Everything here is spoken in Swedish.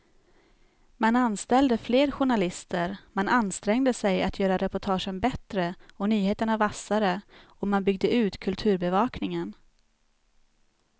Man anställde fler journalister, man ansträngde sig att göra reportagen bättre och nyheterna vassare och man byggde ut kulturbevakningen.